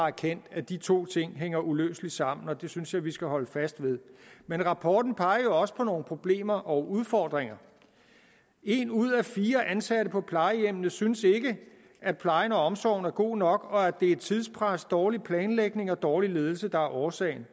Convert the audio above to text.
erkendt at de to ting hænger uløseligt sammen og det synes jeg vi skal holde fast ved men rapporten peger jo også på nogle problemer og udfordringer en ud af fire ansatte på plejehjemmene synes ikke at plejen og omsorgen er god nok og at det er tidspres dårlig planlægning og dårlig ledelse der er årsagen